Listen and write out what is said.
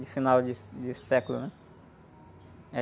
De final de, de século, né?